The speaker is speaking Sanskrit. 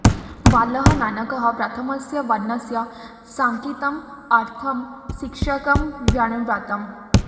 बालः नानकः प्रथमस्य वर्णस्य साङ्केतिकम् अर्थं शिक्षकं व्यवृणोत्